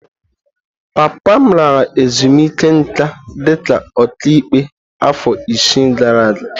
Papa m lara ezumike nká dị ka ọkàikpe afọ isii gara aga.